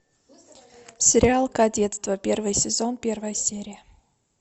сериал кадетство первый сезон первая серия